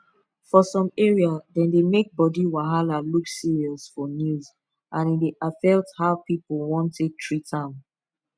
for some area dem dey make body wahala look serious for news and e dey affect how people wan take treat am